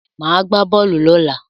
Màá gbá bọ́ọ̀lù lọ́la.